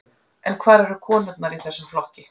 En hvar eru konurnar í þessum flokki?